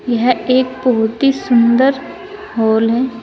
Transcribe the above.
यह एक बहुत ही सुंदर हॉल है।